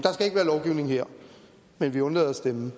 her men vi undlader at stemme